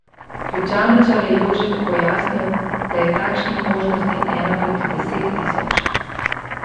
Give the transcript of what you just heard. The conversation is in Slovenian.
Ključavničar je Jožetu pojasnil, da je takšnih možnosti ena proti deset tisoč.